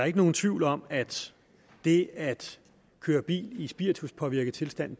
ikke nogen tvivl om at det at køre bil i spirituspåvirket tilstand